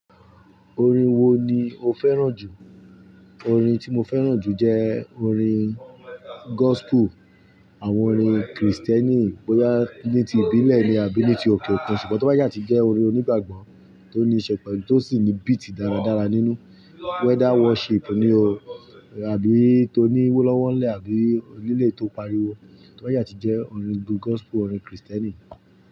Orin wo ni o fẹ́ràn jù? Orin tí mo fẹ́ràn jù jẹ́ orin gospel, àwọn orin Kristẹni bóyá ní ti ìbílẹ̀ ni àbí ní ti òkè òkun, ṣùgbọ́n tó bá yá ti jẹ́ orin onígbàgbọ́ tó ní ìṣepọ̀ ni tó sì ní beat dáradára nínú, whether worship ni o àbí tó ní wó lọ́wọ́nlẹ̀ àbí líle tó pariwo, tó bá yá ti jẹ́ orin gospel, orin Kristẹni.